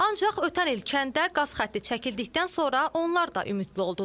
Ancaq ötən il kəndə qaz xətti çəkildikdən sonra onlar da ümidli oldular.